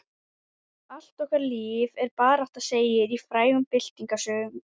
Allt okkar líf er barátta segir í frægum byltingarsöng.